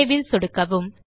save ல் சொடுக்கவும்